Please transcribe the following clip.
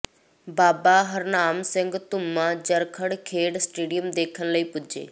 ਬਾਬਾ ਹਰਨਾਮ ਸਿੰਘ ਧੁੰਮਾ ਜਰਖੜ ਖੇਡ ਸਟੇਡੀਅਮ ਦੇਖਣ ਲਈ ਪੁੱਜੇ